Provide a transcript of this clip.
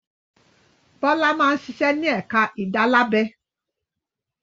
Bọ́lá máa ń ṣiṣẹ́ ní ẹ̀ka ìdálábẹ.